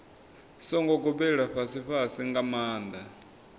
songo gobelela fhasifhasi nga maanḓa